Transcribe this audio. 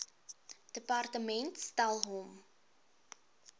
departement stel hom